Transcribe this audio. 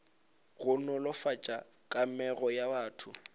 go nolofatša kamego ya batho